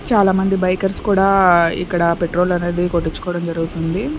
చాలామంది బైకర్స్ కూడా ఇక్కడ పెట్రోల్ అనేది కొట్టించుకోవడం జరుగుతుంది.